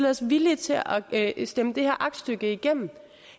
os villige til at stemme det her aktstykke igennem